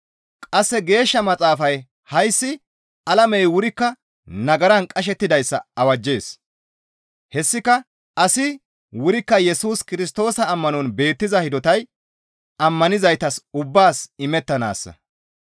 Qasse Geeshsha Maxaafay hayssi alamey wurikka nagaran qashettidayssa awajjees; hessika asi wurikka Yesus Kirstoosa ammanon beettiza hidotay ammanizaytas ubbaas imettanaassa.